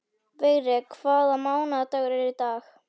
Vigri, hvaða mánaðardagur er í dag?